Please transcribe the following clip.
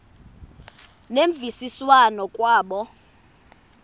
ngemvisiswano r kwabo